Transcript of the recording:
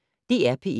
DR P1